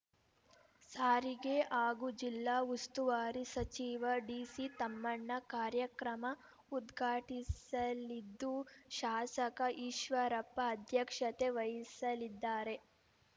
ಸಾರಿಗೆ ಹಾಗೂ ಜಿಲ್ಲಾ ಉಸ್ತುವಾರಿ ಸಚಿವ ಡಿಸಿ ತಮ್ಮಣ್ಣ ಕಾರ್ಯಕ್ರಮ ಉದ್ಘಾಟಿಸಲಿದ್ದು ಶಾಸಕ ಈಶ್ವರಪ್ಪ ಅಧ್ಯಕ್ಷತೆ ವಹಿಸಲಿದ್ದಾರೆ